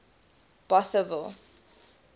bothaville